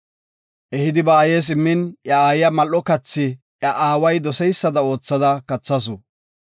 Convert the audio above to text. Ehidi ba aayes immin iya aayiya mal7o kathi iya aaway doseysada oothada kathasu.